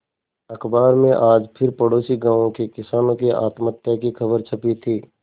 अखबार में आज फिर पड़ोसी गांवों के किसानों की आत्महत्या की खबर छपी थी